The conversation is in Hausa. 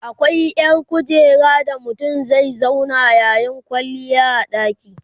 akwai ƴar kujera da mutum zai zauna yayi kwalliya a ɗaki